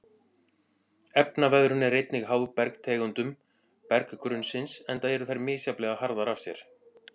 Efnaveðrun er einnig háð bergtegundum berggrunnsins enda eru þær misjafnlega harðar af sér.